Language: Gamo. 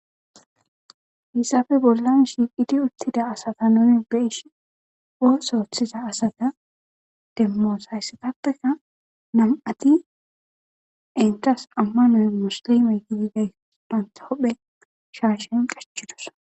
Hesappe bolan shiqidi utida asata nuni beishin ooso otiza asata demos heyisappeka nam'ati etas amano musilime gididayta banta huphe shashen qachidosona.